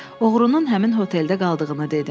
Oğrunun həmin hoteldə qaldığını dedim.